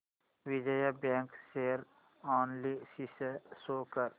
Vijaya bank share analysis show कर